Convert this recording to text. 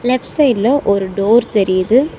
Left சைடுல ஒரு door தெரிது.